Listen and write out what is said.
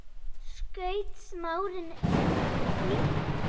skaut Smári inn í.